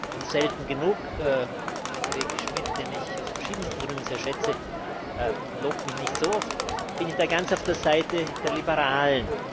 Und selten genug Kollege Schmidt, den ich aus verschiedensten Gründen sehr schätze, lobt mich nicht so oft bin ich da ganz auf der Seite der Liberalen.